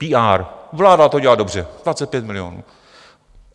PR, vláda to dělá dobře - 25 milionů.